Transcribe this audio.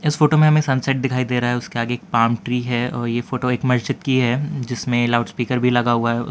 इस फोटो में हमे सनसेट दिखाई दे रहा है उसके आगे एक पाम ट्री है और ये फ़ोटो एक मस्जिद की है जिसमें लाउड स्पीकर भी लगा हुआ है।